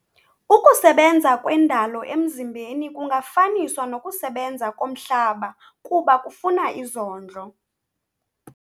Ukusebenza kwendalo emzimbeni kungafaniswa nokusebenza komhlaba kuba kufuna izondlo.